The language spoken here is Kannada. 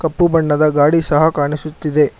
ಕಪ್ಪು ಬಣ್ಣದ ಗಾಡಿ ಸಹ ಕಾಣಿಸುತ್ತಿದೆ.